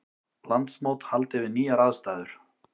Landsmót haldið við nýjar aðstæður